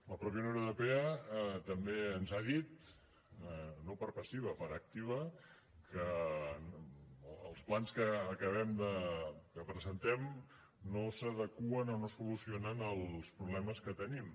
la mateixa unió europea també ens ha dit no per passiva per activa que els plans que presentem no s’adeqüen o no solucionen els problemes que tenim